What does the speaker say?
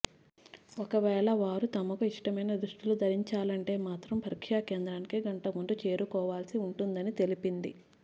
ఒకవేళ వారు తమకు ఇష్టమైన దుస్తులు ధరించాలంటే మాత్రం పరీక్ష కేంద్రానికి గంట ముందు చేరుకోవాల్సి ఉంటుందని తెలిపింది